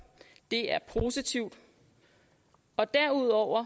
det er positivt derudover